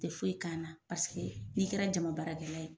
Tɛ foyi k'an na paseke n'i kɛra jama baarakɛla ye